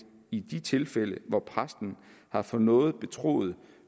i de tilfælde hvor præsten har fået noget betroet